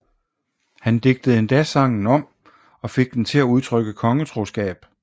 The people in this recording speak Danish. Han digtede endda sangen om og fik den til at udtrykke kongetroskab